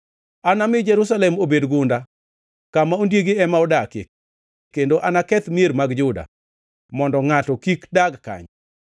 “Anami Jerusalem obed gunda, kama ondiegi ema odakie; kendo anaketh mier mag Juda mondo ngʼato kik dag kanyo.”